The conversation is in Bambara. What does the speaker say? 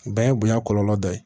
O bɛɛ ye bonya kɔlɔlɔ dɔ ye